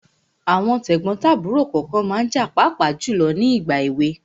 Àwọn tẹ̀gbọ́n tàbúrò kànkan ma ń jà pàápàá jùlọ ní ìgbà èwe.